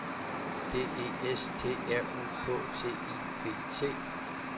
D E S T R U K T I V T